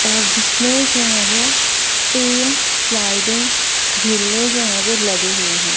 और जिसमें जो है वो तीन स्लाइडिंग झूले जो है वो लगे हुए हैं।